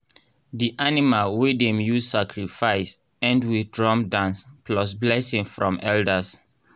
di animal wey dem use sacrifice end with drum dance plus blessing from elders.